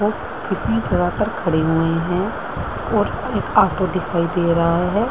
और किसी जगह पर खड़े हुए हैं और एक ऑटो का दिखाई दे रहा है।